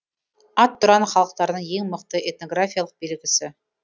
ат тұран халықтарының ең мықты этнографиялық белгісі